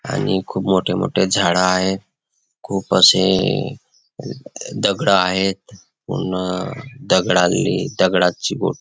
आणि खूप मोठे मोठे झाड आहेत खूप अशे दगड आहेत पूर्ण दगडाले दगडाची बो--